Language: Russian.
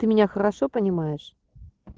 ты меня хорошо понимаешь